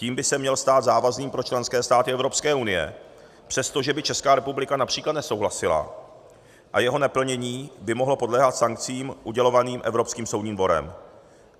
Tím by se měl stát závazným pro členské státy Evropské unie, přestože by Česká republika například nesouhlasila, a jeho neplnění by mohlo podléhat sankcím udělovaným Evropským soudním dvorem.